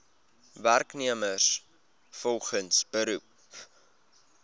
werknemers volgens beroep